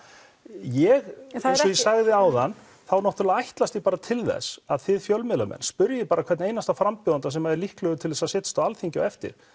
ég eins og ég sagði áðan ég ætlast til að þið fjölmiðlamenn spyrji hvern einasta frambjóðanda sem er líklegur til að setjast á Alþingi á eftir